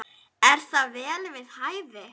Er það vel við hæfi.